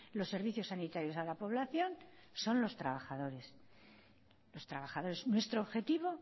los servicios sanitarios a la población son los trabajadores los trabajadores nuestro objetivo